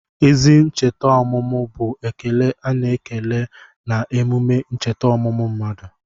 Ezi ncheta ọmụmụ bụ ekele a na-ekele na emume ncheta ọmụmụ mmadụ.